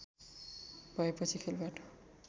भएपछि खेलबाट